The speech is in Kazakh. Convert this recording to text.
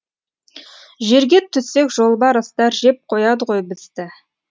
жерге түссек жолбарыстар жеп қояды ғой бізді